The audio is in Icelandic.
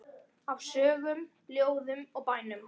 Af sögum, ljóðum og bænum.